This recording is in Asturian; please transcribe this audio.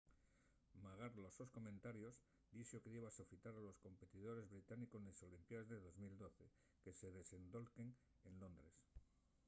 magar los sos comentarios dixo que diba sofitar a los competidores británicos nes olimpiaes de 2012 que se desendolquen en londres